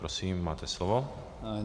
Prosím, máte slovo.